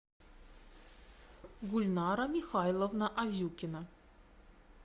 гульнара михайловна азюкина